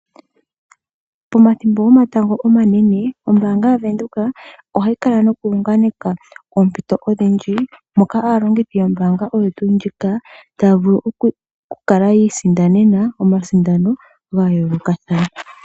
Pomathimbo gomatango omanene ombaanga yaVenduka ohayi kala noku unganeka oompito odhindji moka aalongithi yombaanga oyo tuu ndjika taya vulu oku kala yi isindanena omasindano ga yoolokathana.